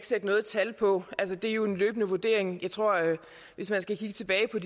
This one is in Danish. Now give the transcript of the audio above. sætte noget tal på det er jo en løbende vurdering hvis man skal kigge tilbage på